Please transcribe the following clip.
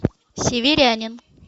северянин